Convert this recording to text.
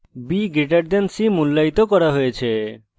b> c মূল্যায়িত করা হয়েছে